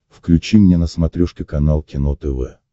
включи мне на смотрешке канал кино тв